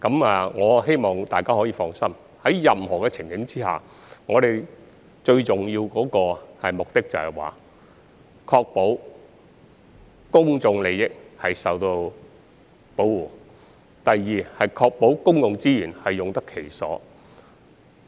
我希望大家可以放心，無論在任何情景下，最重要的目的是，第一，確保公眾利益得到保護；第二，確保公共資源用得其所。